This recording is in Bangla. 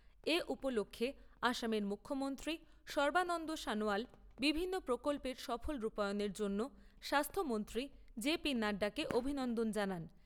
এ উপলক্ষ্যে আসামের মুখ্যমন্ত্রী সর্বানন্দ সানোয়াল বিভিন্ন প্রকল্পের সফল রূপায়নের জন্য স্বাস্থ্যমন্ত্রী জেপি নাড্ডাকে অভিনন্দন জানান।